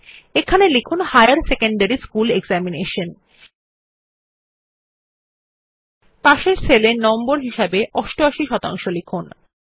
এখানে লিখুন higher secondary school examination এবং পার্শ্ববর্তী সেল এ নম্বর হিসাবে 88 শতাংশ লিখুন